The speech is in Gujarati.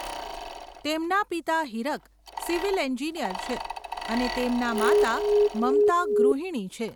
તેમના પિતા હીરક સિવિલ એન્જિનિયર છે અને તેમના માતા મમતા ગૃહિણી છે.